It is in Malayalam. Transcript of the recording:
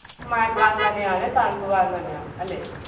മഴക്കാലം തന്നെയാണ് തണുപ്പ്കാലം തന്നെയാണ് അല്ലെ?